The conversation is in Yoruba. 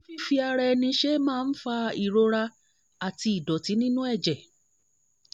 ṣé fífi ara ẹni ṣe é máa ń fa ìrora àti ẹ̀jẹ̀ nínú ìdọ̀tí?